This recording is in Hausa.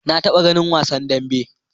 Na taɓa ganin wasan dambe.